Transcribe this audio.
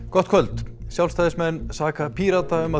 gott kvöld Sjálfstæðismenn saka Pírata um að